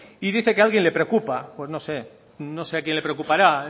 dice que alguien le preocupa pues no sé no sé a quién le preocupará